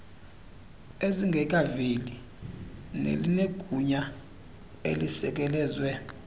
ezingekaveli nelinegunya elisekelezwe